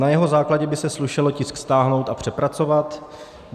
Na jeho základě by se slušelo tisk stáhnout a přepracovat.